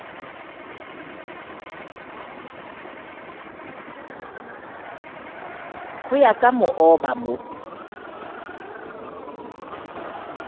ho ya ka mooba mo